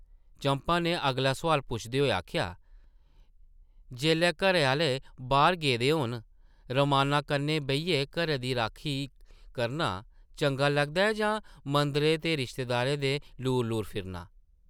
चंपा नै अगला सोआल पुछदे होई आखेआ, ‘‘जेल्लै घरै आह्ले बाह्र गेदे होन, रमान्ना कन्नै बेहियै घरै दी राखी करना चंगा लगदा ऐ जां मंदरें ते रिश्तेदारें दै लूर-लूर फिरना ?’’